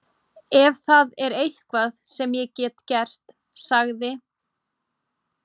Ef það er eitthvað sem ég get gert- sagði